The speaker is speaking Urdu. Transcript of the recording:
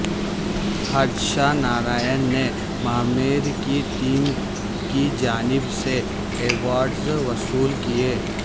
ہرشا نارائن نے ماہ میر کی ٹیم کی جانب سے ایوارڈز وصول کیے